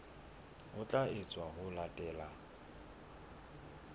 ho tla etswa ho latela